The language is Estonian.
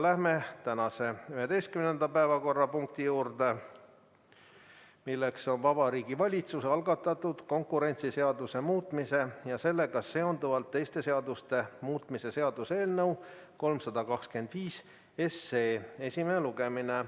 Läheme tänase 11. päevakorrapunkti juurde, milleks on Vabariigi Valitsuse algatatud konkurentsiseaduse muutmise ja sellega seonduvalt teiste seaduste muutmise seaduse eelnõu 325 esimene lugemine.